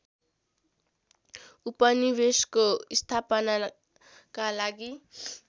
उपनिवेशको स्थापनाका लागि